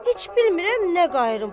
Heç bilmirəm nə qayıram.